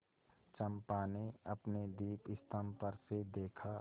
चंपा ने अपने दीपस्तंभ पर से देखा